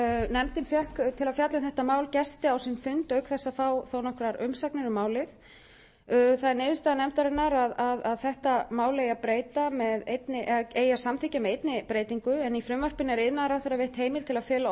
nefndin fékk til að fjalla um þetta mál gesti á sinn fund auk þess að fá nokkrar umsagnir um málið það er niðurstaða nefndarinnar að þetta mál eigi að samþykkja með einni breytingu í frumvarpinu er iðnaðarráðherra veitt heimild til að fela